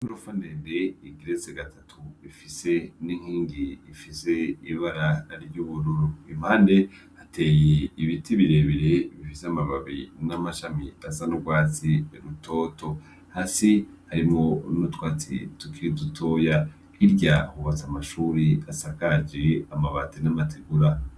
Ingorofa ndede igeretse gatatu ifise n'inkingi ifise ibara ry'ubururu impande hateye ibiti birebere bifise amababi n'amashami asa n'urwatsi rutoto hasi harimwo n'utwatsi tukiri dutoya hirya hubatse amashuri asakaje amabati n'amategura.